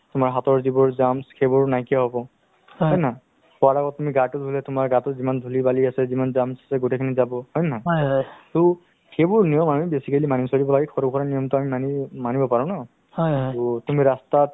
বহুত ধৰণৰ বেমাৰবোৰ বেমাৰবোৰে আগুৰি ধৰিছে to তেওঁলোকে নিজৰ শৰীৰৰ বিষয়ে অলপমান অ লৰকচৰক মানে লক্ষ্য ৰাখি যদি কিবা exercise কৰে বা doctor ৰ পৰামৰ্শ লয় তেতিয়াহ'লে তেওঁলোক মানে এইবোৰ বেমাৰৰ পৰা নিশ্চয়কৈ মানে আঁতৰত থাকিব